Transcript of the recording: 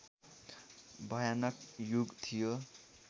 भयानक युग थियो